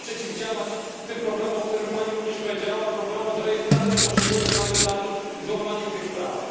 Trzeba przeciwdziałać tym problemom, o których Pani też mówiła, problemom z rejestracją poszczególnych kandydatów i z łamaniem tych praw.